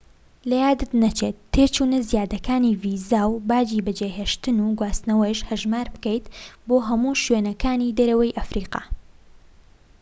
لەیادت نەچێت تێچوونە زیادەکانی ڤیزا و باجی بەجێهێشتن و گواستنەوەش هەژمار بکەیت بۆ هەموو شوێنەکانی دەرەوەی ئەفریقا